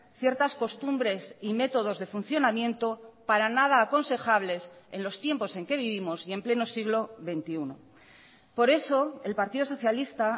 ciertas costumbres y métodos de funcionamiento para nada aconsejables en los tiempos en que vivimos y en pleno siglo veintiuno por eso el partido socialista